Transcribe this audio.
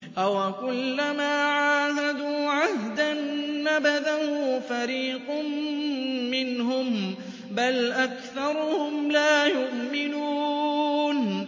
أَوَكُلَّمَا عَاهَدُوا عَهْدًا نَّبَذَهُ فَرِيقٌ مِّنْهُم ۚ بَلْ أَكْثَرُهُمْ لَا يُؤْمِنُونَ